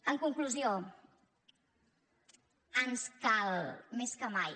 en conclusió ens cal més que mai